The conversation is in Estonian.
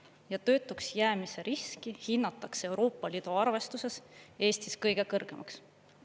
Ja töötuks jäämise riski hinnatakse Euroopa Liidu arvestuses Eestis kõige kõrgemaks.